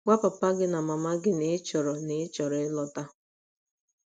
Gwa papa gị na mama gị na ị chọrọ na ị chọrọ ịlọta.